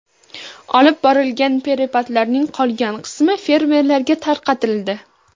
Olib borilgan preparatlarning qolgan qismi fermerlarga tarqatildi.